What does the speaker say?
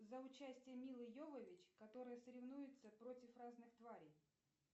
за участие мила йовович которая соревнуется против разных тварей